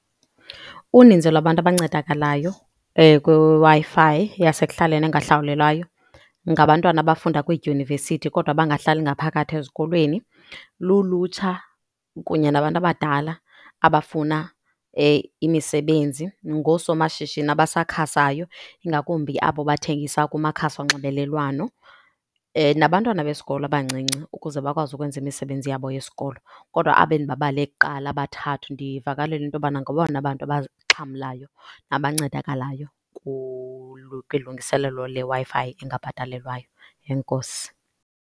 Uninzi lwabantu abancedakalayo kwiWi-Fi yasekuhlaleni engahlawulelwayo ngabantwana abafunda kwiidyunivesithi kodwa abangahlali ngaphakathi ezikolweni, lulutsha kunye nabantu abadala abafuna imisebenzi, ngoosomashishini abasakhasayo ingakumbi abo bathengisa kumakhasi onxibelelwano nabantwana besikolo abancinci, ukuze bakwazi ukwenzela imisebenzi yabo yesikolo. Kodwa aba endibabale kuqala abathathu ndivakalelwa into yobana ngabona bantu abaxhamlayo abancedakalayo kulungiselelo leWi-Fi engabhatalelwayo. Enkosi.